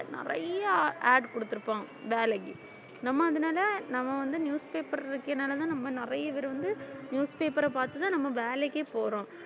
நிறைய add கொடுத்துருப்போம் வேலைக்கு நம்ம அதனால நம்ம வந்து newspaper இருக்கிறதுனாலதான் நம்ம நிறைய பேர் வந்து newspaper அ பார்த்துதான் நம்ம வேலைக்கே போறோம்